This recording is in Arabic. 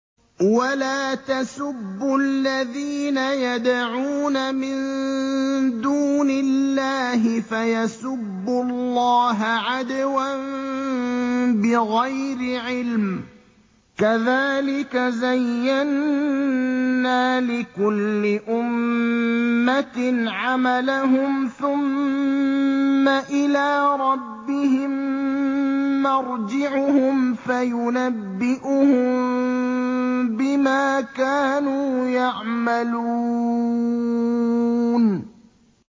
وَلَا تَسُبُّوا الَّذِينَ يَدْعُونَ مِن دُونِ اللَّهِ فَيَسُبُّوا اللَّهَ عَدْوًا بِغَيْرِ عِلْمٍ ۗ كَذَٰلِكَ زَيَّنَّا لِكُلِّ أُمَّةٍ عَمَلَهُمْ ثُمَّ إِلَىٰ رَبِّهِم مَّرْجِعُهُمْ فَيُنَبِّئُهُم بِمَا كَانُوا يَعْمَلُونَ